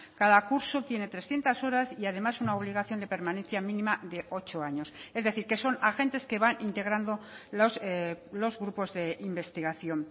cada curso tiene trescientos horas y además una obligación de permanencia mínima de ocho años es decir que son agentes que van integrando los grupos de investigación